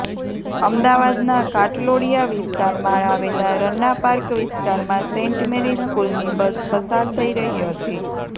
અમદાવાદના ઘાટલોડિયા વિસ્તારમાં આવેલા રન્નાપાર્ક વિસ્તારમાં સેન્ટ મેરી સ્કૂલની બસ પસાર થઇ રહી હતી